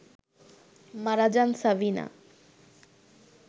মারা যান সাবিনা